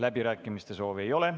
Läbirääkimiste soovi ei ole.